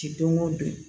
Ti don o don